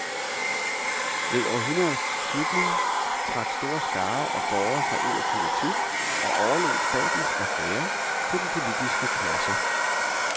Ved århundredets slutning trak store skarer af borgere sig ud af politik og overlod statens affærer til den politiske klasse.